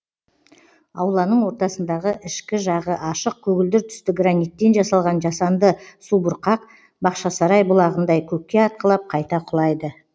ауланың ортасындағы ішкі жағы ашық көгілдір түсті граниттен жасалған жасанды субұрқақ бақшасарай бұлағындай көкке атқылап қайта құлайды